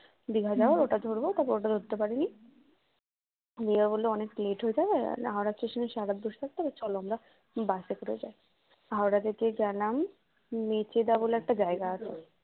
দীঘায় যাওয়ার ওটা ধরবো ওটা ধরতে পারিনি মিয়া বলল অনেক late হয়ে যাবে হাওড়া station এ সারারাত বসে থাকতে হবে চলো আমরা বাসে করে যাই, হাওড়া থেকে গেলাম মেছেদা বলে একটা জায়গা আছে